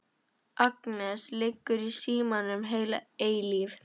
Agnes liggur í símanum heila eilífð.